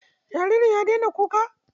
Jaririn ya daina kuka?